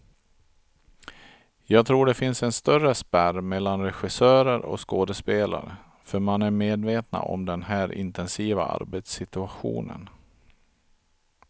Jag tror det finns en större spärr mellan regissörer och skådespelare, för man är medvetna om den här intensiva arbetssituationen.